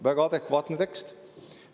Väga adekvaatne tekst.